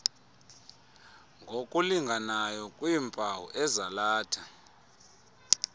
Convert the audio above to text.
ngokulinganayo kwiimpawu ezalatha